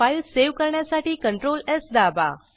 file save करण्यासाठी ctrlsदाबा